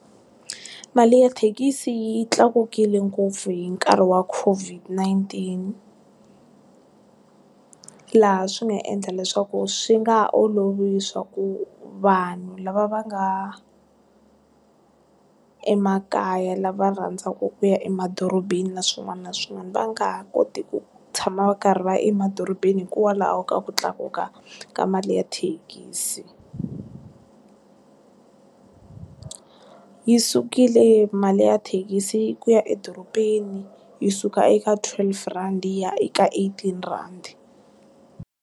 Mali ya thekisi yi tlakukile ngopfu hi nkarhi wa Covid-nineteen laha swi nga endla leswaku swi nga olovi swa ku vanhu lava va nga emakaya lava rhandzaku ku ya emadorobeni na swin'wana na swin'wana va nga ha koti ku tshama va karhi va ya emadorobeni hikwalaho ka ku tlakuka ka mali ya thekisi, yi sukile mali ya thekisi ku ya edorobeni yi suka eka twelve rand ya eka eighteen rand.